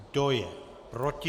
Kdo je proti?